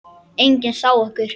Enginn sá okkur.